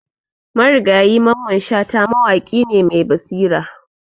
Marigayi Mamman Shata mawaƙi ne mai basira.